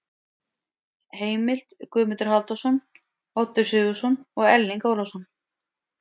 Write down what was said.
Heimild: Guðmundur Halldórsson, Oddur Sigurðsson og Erling Ólafsson.